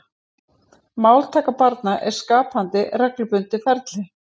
Máltaka barna er skapandi reglubundið ferli.